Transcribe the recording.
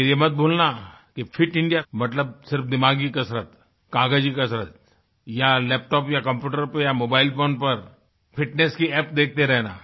लेकिन ये मत भूलना कि फिट इंडिया मतलब सिर्फ दिमागी कसरत कागजी कसरत या लैपटॉप या कम्प्यूटर पर या मोबाइलफोन पर फिटनेस की अप्प देखते रहना